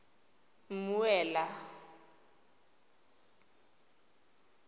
mmuela